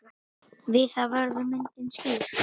Við það verður myndin skýr.